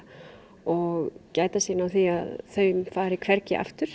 og gæta sín á því að þeim fari hvergi aftur